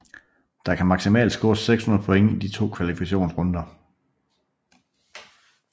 Der kan maksimalt scores 600 point i de to kvalifikationsrunder